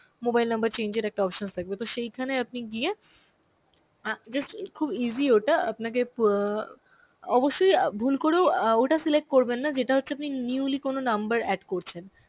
mobile number change এর একটা options থাকবে তো সেইখানে আপনি গিয়ে অ্যাঁ just খুব easy way তে আপনাকে অ্যাঁ অবশ্যই অ্যাঁ ভুল করেও অ্যাঁ ওটা select করবেন না যেটা হচ্ছে আপনি newly কোন number add করছেন.